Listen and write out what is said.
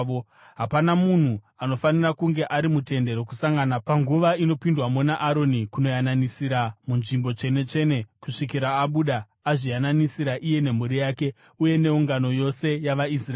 Hapana munhu anofanira kunge ari muTende Rokusangana panguva inopindwamo naAroni kunoyananisira muNzvimbo Tsvene-tsvene kusvikira abuda, azviyananisira iye nemhuri yake uye neungano yose yavaIsraeri.